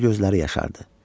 Hətta gözləri yaşardı.